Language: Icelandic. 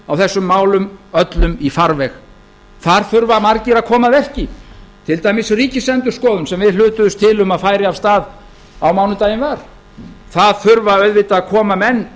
á þessum málum öllum í farveg þar þurfa margir að koma að verki til dæmis ríkisendurskoðun sem við hlutuðumst til um að færi af stað á mánudaginn var það þurfa auðvitað að koma menn